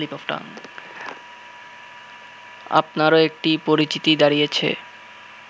আপনারও একটি পরিচিতি দাঁড়িয়েছে